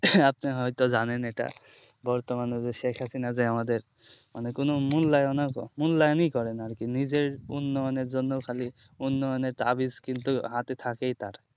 আপনি হয় তো জানেন এটা বর্তমানে যে শেখ হাসিনা যে আমাদের মানে কোনো মূল্যায়ণ মূল্যায়ণই করে না আর কি নিজের উন্নয়নের জন্য খালি উন্নয়নের তাবিজস্কিল হাতে থাকেই তার